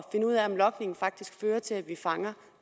ud af om logning faktisk fører til at vi fanger